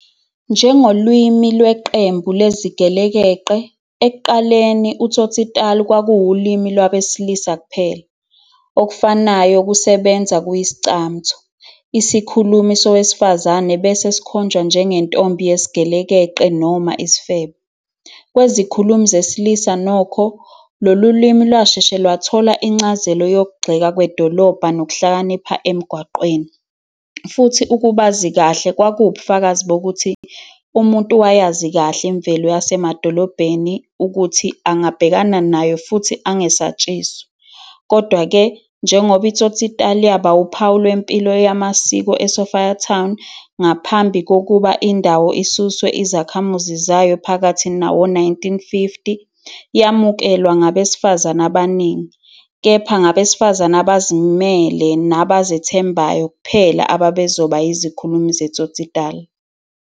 Njengolimi lweqembu lezigelekeqe, ekuqaleni uTsotsitaal kwakuwulimi lwabesilisa kuphela. Okufanayo kusebenza ku-Iscamtho. Isikhulumi sowesifazane bese sikhonjwa njengentombi yesigelekeqe noma isifebe. Kwezikhulumi zesilisa nokho, lolu limi lwasheshe lwathola incazelo yokuxega kwedolobha nokuhlakanipha emigwaqweni, futhi ukubazi kahle kwakuwubufakazi bokuthi umuntu wayazi kahle imvelo yasemadolobheni ukuthi angabhekana nayo futhi angesatshiswa. Kodwa-ke, njengoba iTsotsitaal yaba uphawu lwempilo yamasiko eSophiatown, ngaphambi kokuba indawo isuswe izakhamuzi zayo phakathi nawo-1950, yamukelwa ngabesifazane abaningi. Kepha ngabesifazane abazimele nabazethembayo kuphela abebezoba yizikhulumi zeTsotsitaal.